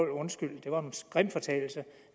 undskyld det var en grim fortalelse